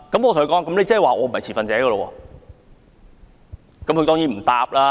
我問他："我不是持份者嗎？